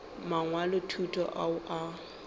mangwalo a thuto ao a